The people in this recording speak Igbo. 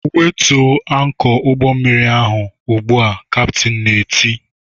"Wetuo ankọ ụgbọmmiri ahụ ugbu a!" kaptin na-eti